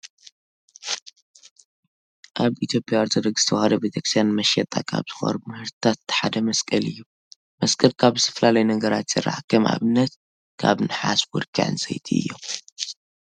ኣብ ኢትዮጵያ ኦርቶዶክስ ተዋህዶ ቤተክርስቲያን ንመሸጣ ካብ ዝቐርቡ ምህርትታት እቲ ሓደ መስቀል እዩ። መስቀል ካብ ዝተፈላለዩ ነገራት ይስራሕ። ከም ኣብነት ካብ ንሓስ፣ ወርቂ፣ ዕንፀይቲ እዮም።